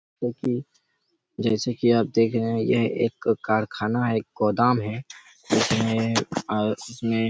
देखी जैसे की आप देख रहे है यह एक कारखाना हैं एक गोदाम है इसमें एक और जिसमे--